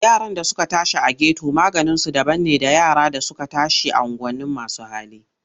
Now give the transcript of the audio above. Yaran da suka tashi a geto maganinsu daban ne da yara da suka tashi a unguwanin masu hali.